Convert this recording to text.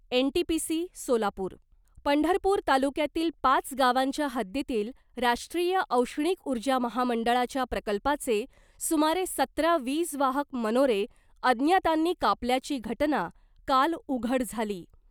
NTPC Solapur Pandharpur तालुक्यातील पाच गावांच्या हद्दीतील राष्ट्रीय औष्णिक ऊर्जा महामंडळाच्या प्रकल्पाचे सुमारे सतरा वीज वाहक मनोरे अज्ञातांनी कापल्याची घटना काल उघड झाली .